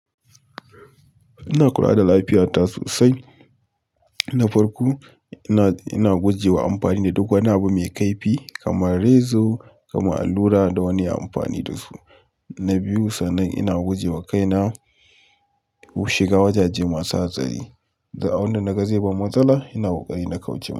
Ina kula da lafiyata sosai. Na farko, ina guje wa amfani da duk wani abu mai kaifi kamar rezo, kamar allura da wani ya amfani da shi. Na biyu, sanan ina guje wa kaina shiga wajaje masu hatsari. Du abun da naga zai ban matsala, ina kokari na kauce masa.